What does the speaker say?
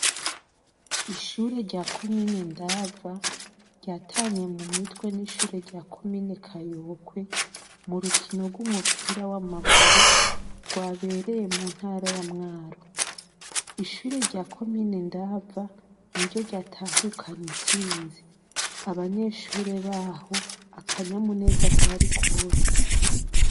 Ishure rya comine Ndava, ryatanye mu mitwe n' ishure rya comine Kayokwe, mu rukino rw' umupira w' amaguru, rwabereye mu ntara ya Mwaro. Ishure rya comine Ndava niryo ryatahukanye intsinzi. Abanyeshure baho, akanyamuneza kari kose.